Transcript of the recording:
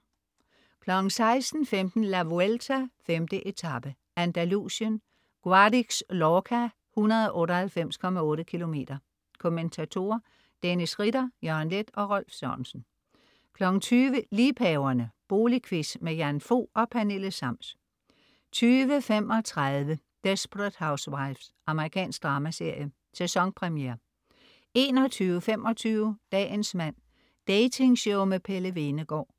16.15 La Vuelta: 5. etape, Andalusien. Guadix-Lorca, 198,8 km. Kommentatorer: Dennis Ritter, Jørgen Leth og Rolf Sørensen 20.00 Liebhaverne. Boligquiz. Jan Fog og Pernille Sams 20.35 Desperate Housewives. Amerikansk dramaserie, sæsonpremiere 21.25 Dagens mand. Datingshow med Pelle Hvenegaard